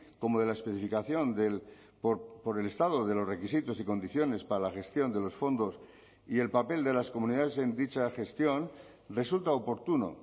como de la especificación del por el estado de los requisitos y condiciones para la gestión de los fondos y el papel de las comunidades en dicha gestión resulta oportuno